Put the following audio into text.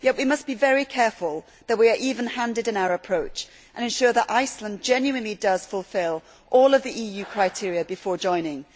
Yet we must be very careful to be even handed in our approach and ensure that Iceland genuinely does fulfil all of the EU criteria before joining.